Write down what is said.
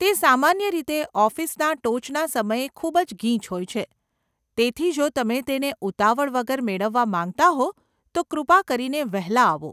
તે સામાન્ય રીતે ઓફિસના ટોચના સમયે ખૂબ જ ગીચ હોય છે, તેથી જો તમે તેને ઉતાવળ વગર મેળવવા માંગતા હો તો કૃપા કરીને વહેલા આવો.